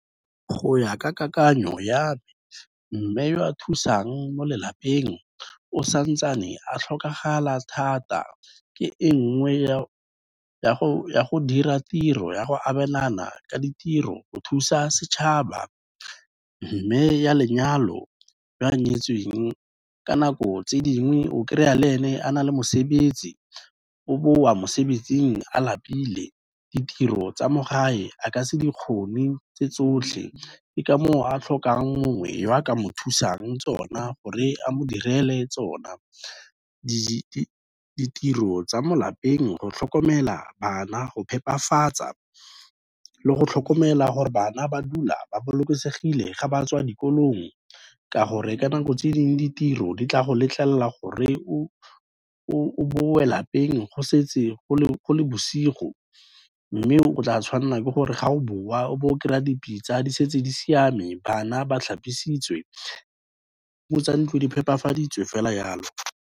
Go ya ka kakanyo ya me, mme o a thusang mo lelapeng o santsane a tlhokagala thata, ke e nngwe ya go dira tiro ya go abelana ka ditiro, go thusa setšhaba. Mme oa lenyalo o a nyetsweng ka nako tse dingwe o kry-a le ene a na le mosebetsi, o boa mosebetsing a lapile, ditiro tsa mo gae a ka se di kgone tse tsotlhe, ke ka mo o a tlhokang mongwe o a ka mo thusang tsona gore a mo direle tsona. Ditiro tsa mo lapeng, go tlhokomela bana, go phepafatsa le go tlhokomela gore bana ba dula ba bolokesegile ga ba tswa dikolong, ka gore ka nako tse dingwe, ditiro di tla go letlelela gore o boe lapeng go setse go le bosigo, mme o tla tshwanela ke gore ga o boa o bo o kry-a dipitsa di setse di siame, bana ba tlhapisitswe, di-room-o tsa ntlo di phepafaditswe fela yalo.